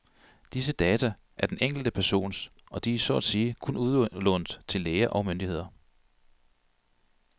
Disse data er den enkelte persons og de er så at sige kun udlånt til læger og myndigheder.